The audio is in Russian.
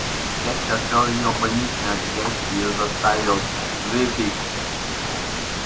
перси отвёл её в больничный отсек и заставил выпить